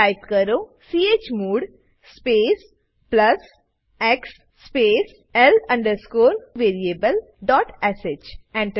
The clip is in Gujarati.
ટાઈપ કરો chmod space plus x space l variablesh Enter